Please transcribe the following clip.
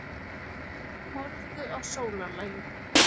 Horfðu á sólarlagið.